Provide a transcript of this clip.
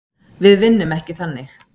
Við vinnum ekki þannig.